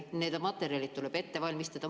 Need materjalid tuleb ette valmistada.